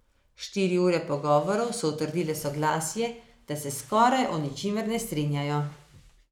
Štiri ure pogovorov so utrdile soglasje, da se skoraj o ničemer ne strinjajo.